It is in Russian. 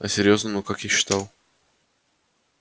а серьёзно ну как я считал